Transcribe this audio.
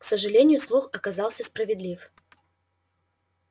к сожалению слух оказался справедлив